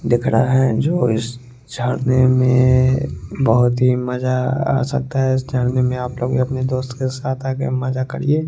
दिख रहा है जो उस छावनी में बहुत ही मज़ा आ सकता है इस छावनी में आप लोग भी अपने दोस्त के साथ मज़ा करिए।